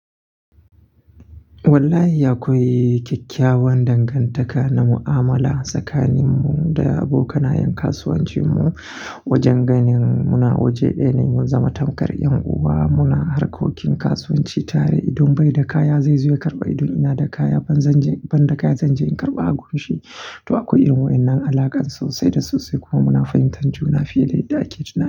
Wallahi akwai kyakkyawan dangantaka na mu'amala tsakaninmu da abokanayan kasuwancinmu. Wajen ganin muna waje ɗaya ne mun zama tamkar 'yan uwa. Muna harkokin kasuwanci tare. Idan bai da kaya, zai zo ya karɓa idan ina da kaya. Ban da kaya, zanje in karɓa a gurinshi. To akwai irin waɗannan alakar sosai da sosai kuma muna fahimtar juna fiye da yadda ake tunani.